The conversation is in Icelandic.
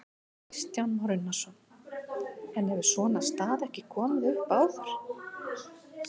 Kristján Már Unnarsson: En hefur svona staða ekki komið upp áður?